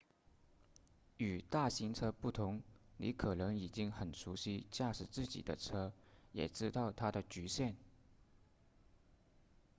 与大型车不同你可能已经很熟悉驾驶自己的车也知道它的局限